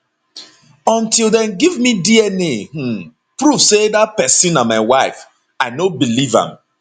until dem give me dna um proof say dat pesin na my wife i no believe am